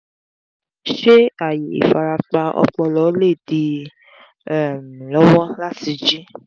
ṣé ààyè ìfarapa ọpọlọ lè dí i um lọ́wọ́ láti jí?